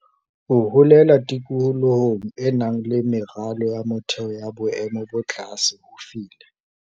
Ho holela tikolohong e nang le meralo ya motheo ya boemo bo tlase ho file